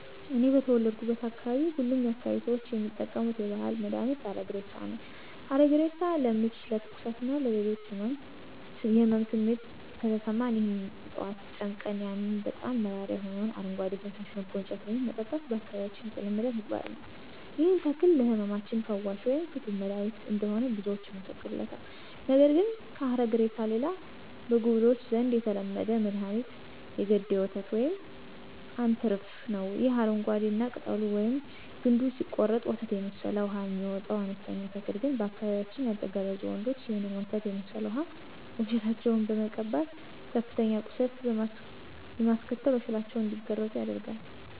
እኔ በተወለድኩበት አካባቢ ሁሉም የአካባቢያችን ሰዎች የሚጠቀሙት የባህል መድሀኒት ሀረግሬሳ ነው። ሀረግሬሳ ለምች፣ ለትኩሳት እና ሌሎች የህመም ስሜት ከተሰማን ይህንን ዕጽዋት ጨምቀን ያንን በጣም መራራ የሆነውን አረጓዴ ፈሳሽ መጎንጨት ወይም መጠጣት በአካባቢያችን የተለመደ ተግባር ነዉ። ይህም ተክል ለህመማችን ፈዋሽ ወይም ፍቱን መድሐኒት እንደሆነ ብዙዎች ይመሰክሩለታል። ነገር ግን ከሀረግሬሳ ሌላ በጉብሎች ዘንድ የተለመደ መድኋኒት የገዴ ወተት ወይም አንትርፋ ነው። ይህ አረንጓዴ እና ቅጠሉን ወይም ግንዱን ሲቆረጥ ወተት የመሰለ ውሃ የሚወጣው አነስተኛ ተክል ግን በአካባቢያችን ያልተገረዙ ወንዶች ይህንን ወተት የመሠለ ውሃ ወሸላቸውን በመቀባት ከፍተኛ ቁስለት በማስከተል ወሸላቸው እንዲገረዝ ያደርጋቸዋል።